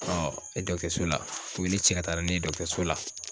e so la u ye ne cɛ ka taara ne ye so la.